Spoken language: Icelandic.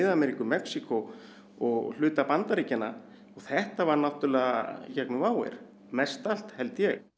Ameríku Mexíkó og hluta Bandaríkjanna þetta var í gegnum WOW air mest allt held ég